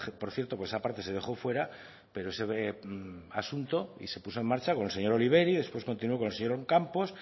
por cierto por esa parte se dejó fuera ese asunto y se puso en marcha con el señor después continuó con el señor